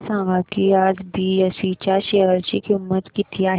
हे सांगा की आज बीएसई च्या शेअर ची किंमत किती आहे